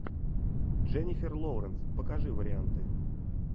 дженифер лоуренс покажи варианты